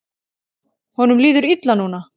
Honum líður illa núna.